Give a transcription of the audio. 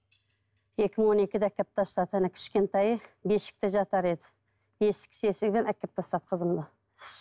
екі мың он екіде әкеліп тастады ана кішкентайы бесікте жатар еді әкеліп тастап қызымды